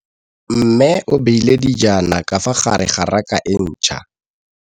Mmê o beile dijana ka fa gare ga raka e ntšha.